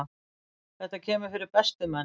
Þetta kemur fyrir bestu menn.